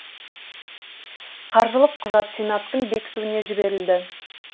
қаржылық құжат сенаттың бекітуіне жіберілді